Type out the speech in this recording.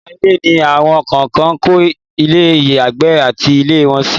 ìta ilé ni awọn kan ń kọ́ ilé ìyàgbẹ́ àti ilé ìwẹ̀ sí